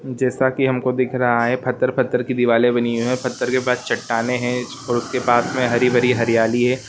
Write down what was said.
जैसा के हमको दिख रहा है पत्थर-पत्थर की दीवाले बनी हुई है पत्थर के पास चट्टाने है और उस के पास में हरी-भरी हरयाली है।